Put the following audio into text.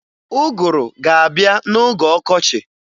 Ụgụrụ ga-abịa n'oge ọkọchi